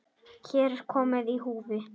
Hér er mikið í húfi.